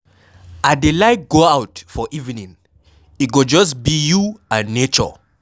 I dey like go out for evening. E go just be you and nature.